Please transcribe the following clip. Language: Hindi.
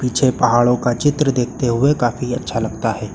पीछे पहाड़ों का चित्र देखते हुए काफी अच्छा लगता है।